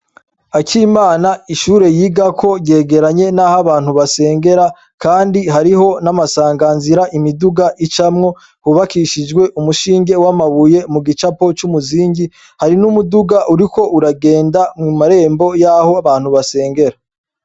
Akimana ishure yigako ryegeranye, naho abantu basengera, kandi hariho n'amasanganzira imiduga icamwo hubakishijwe umushinge w'amabuye mu gicapo c'umuzingi hari n'umuduga uriko uragenda mw marembo yaho abantu basengera.